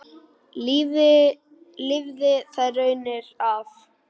Lifði þær raunir af.